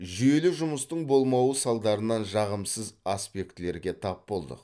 жүйелі жұмыстың болмауы салдарынан жағымсыз аспектілерге тап болдық